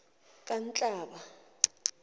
kanhlaba